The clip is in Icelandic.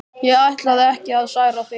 Ég ætlaði ekki að særa þig.